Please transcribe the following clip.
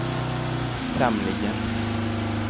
tämligen